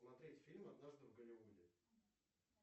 смотреть фильм однажды в голливуде